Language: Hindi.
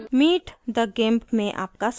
meet the gimp में आपका स्वागत है